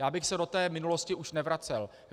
Já bych se do té minulosti už nevracel.